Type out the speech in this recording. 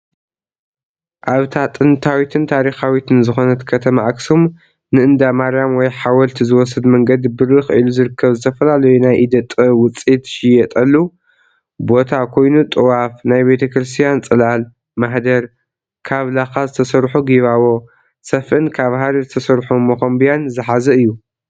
ኣብታ ጥንታዊትን ታሪኻዊትን ዝኾነት ከተማ ኣክሱም ንእንዳ ማርያም ወይ ሓወልቲ ዝወስድ መንገዲ ብርኽ ኢሉ ዝርከብ ዝተፈላለዩ ናይ ኢደ ጥበብ ውፅኢት ዝሽየጠሉ ቦታ ኮይኑ ጥዋፍ÷ናይ ቤተክርስትያን ፅላል÷ማህደር÷ካብ ላኻ ዝተሰርሑ ጊባቦ÷ሰፍእን ካብ ሃሪ ዝተሰርሑ መኾምብያን ዝሓዘ እዩ።